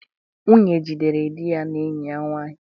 Nwunye jidere di ya na enyi ya nwanyị